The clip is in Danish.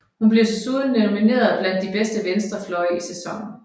Hun blev desuden nomineret blandt de bedste venstrefløje i sæsonen